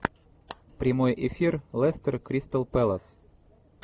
прямой эфир лестер кристал пэлас